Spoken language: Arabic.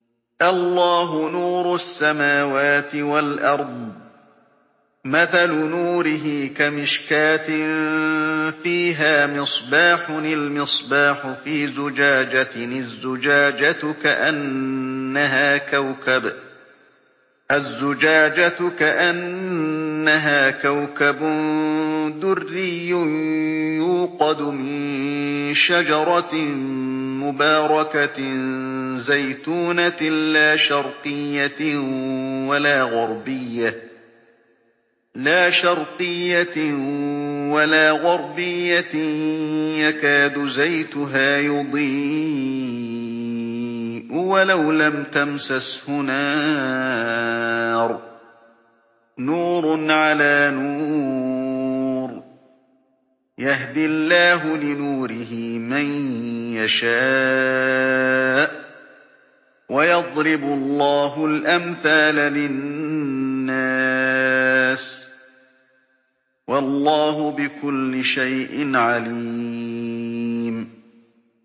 ۞ اللَّهُ نُورُ السَّمَاوَاتِ وَالْأَرْضِ ۚ مَثَلُ نُورِهِ كَمِشْكَاةٍ فِيهَا مِصْبَاحٌ ۖ الْمِصْبَاحُ فِي زُجَاجَةٍ ۖ الزُّجَاجَةُ كَأَنَّهَا كَوْكَبٌ دُرِّيٌّ يُوقَدُ مِن شَجَرَةٍ مُّبَارَكَةٍ زَيْتُونَةٍ لَّا شَرْقِيَّةٍ وَلَا غَرْبِيَّةٍ يَكَادُ زَيْتُهَا يُضِيءُ وَلَوْ لَمْ تَمْسَسْهُ نَارٌ ۚ نُّورٌ عَلَىٰ نُورٍ ۗ يَهْدِي اللَّهُ لِنُورِهِ مَن يَشَاءُ ۚ وَيَضْرِبُ اللَّهُ الْأَمْثَالَ لِلنَّاسِ ۗ وَاللَّهُ بِكُلِّ شَيْءٍ عَلِيمٌ